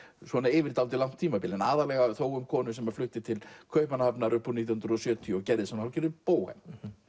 yfir dálítið langt tímabil aðallega þó um konu sem flutti til Kaupmannahafnar upp úr nítján hundruð og sjötíu og gerðist hálfgerður bóhem